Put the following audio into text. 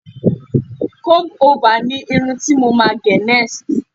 comb over ni Irun ti mo ma gé next